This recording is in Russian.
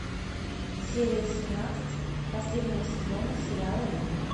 серия семнадцать последнего сезона сериала рим